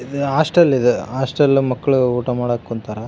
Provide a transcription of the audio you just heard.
ಇದು ಹಾಸ್ಟೆಲ್ ಇದು ಹಾಸ್ಟೆಲ್ ಲಿ ಮಕ್ಕಳು ಊಟ ಮಾಡಾಕೆ ಕುಂತಾರ.